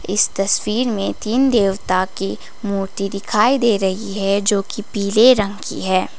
इस तस्वीर में तीन देवता की मूर्ति दिखाई दे रही है जो कि पीले रंग की है।